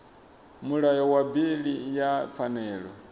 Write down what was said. mulayo wa bili ya pfanelo